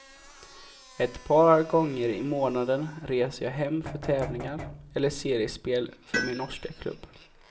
Ett par gånger i månaden reser jag hem för tävlingar eller seriespel för min norska klubb.